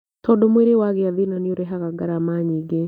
Tondũ mwĩrĩ wagĩa thĩna nĩũrehaga ngarama nyingĩ